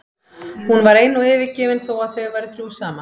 Hún var ein og yfirgefin þó að þau væru þrjú saman.